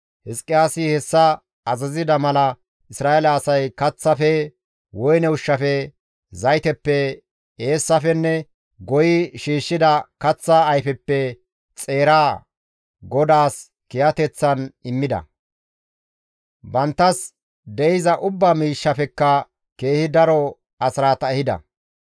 Hizqiyaasi hessa azazida mala Isra7eele asay kaththafe, woyne ushshafe, zayteppe, eessafenne goyi shiishshida kaththa ayfeppe xeera GODAAS kiyateththan immida; banttas de7iza ubba miishshafekka keehi daro asraata ehida.